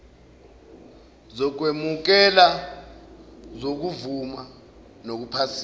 zokwemukela zokuvuma nokuphasisa